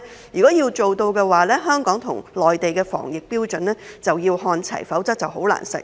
如果要做到，香港與內地的防疫標準便要看齊，否則便難以實現。